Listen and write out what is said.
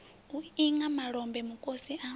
u lṅa malombe mukosi a